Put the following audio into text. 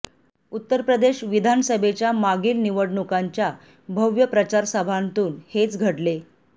उत्तर प्रदेश विधानसभेच्या मागील निवडणुकांच्या भव्य प्रचार सभांतून हेच घडले